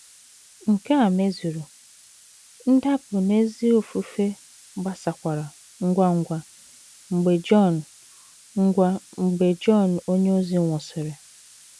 Nke a mezuru, ndapụ n’ezi ofufe gbasakwara ngwa ngwa mgbe Jọn ngwa mgbe Jọn onyeozi nwụsịrị.